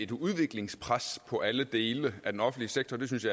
et udviklingspres på alle dele af den offentlige sektor det synes